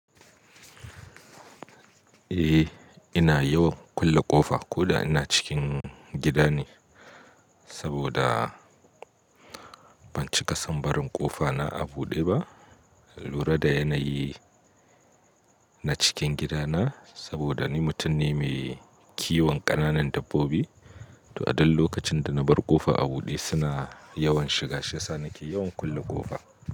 Eh, ina yawan kulle ƙofa ko da ina cikin gida ne, saboda ban cika sam barin ƙofa na a buɗe ba. Lura da yanayi na cikin gidana, saboda ni mutum ne mai kiwon ƙananan dabbobi. To a duk lokacin da na bar ƙofa a buɗe suna yawan shiga, shi yasa nake yawan kulle ƙofa.